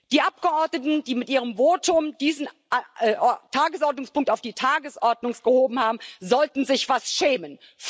Die Abgeordneten, die mit ihrem Votum diesen Tagesordnungspunkt auf die Tagesordnung gehoben haben, sollten sich was schämen.